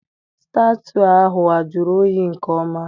Staụtụ ahụ a jụrụ oyi nke ọma?